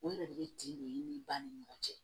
O yɛrɛ de bɛ tiɲɛ de ba ni ɲɔgɔn cɛ